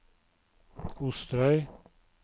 Osterøy